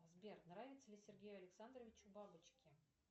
сбер нравятся ли сергею александровичу бабочки